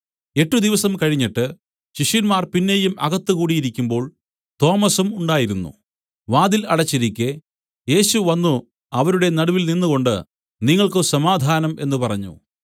എട്ട് ദിവസം കഴിഞ്ഞിട്ട് ശിഷ്യന്മാർ പിന്നെയും അകത്ത് കൂടിയിരിക്കുമ്പോൾ തോമസും ഉണ്ടായിരുന്നു വാതിൽ അടച്ചിരിക്കെ യേശു വന്നു അവരുടെ നടുവിൽ നിന്നുകൊണ്ടു നിങ്ങൾക്ക് സമാധാനം എന്നു പറഞ്ഞു